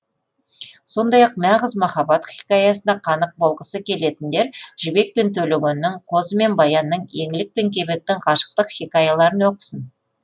сондай ақ нағыз махаббат хикаясына қанық болғысы келетіндер жібек пен төлегеннің қозы мен баянның еңлік пен кебектің ғашықтық хикаяларын оқысын